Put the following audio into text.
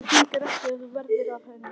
Það gengur ekki að þú verðir af henni.